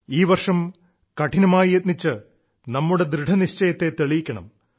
ഈ വർഷവും കഠിനമായി യത്നിച്ച് നമ്മുടെ ദൃഢനിശ്ചയത്തെ തെളിയിക്കണം